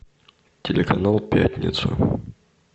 телеканал пятница